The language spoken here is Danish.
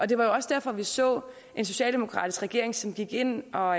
det var også derfor vi så en socialdemokratisk regering som gik ind og